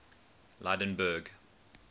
lydenburg